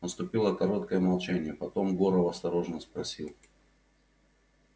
наступило короткое молчание потом горов осторожно спросил